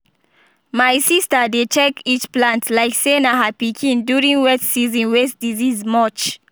my sista dey check each plant like say na her pikin during wet season way disease much